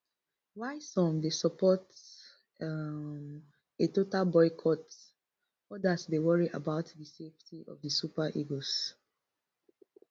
while some dey support um a total boycott odas dey worry about di safety of di super eagles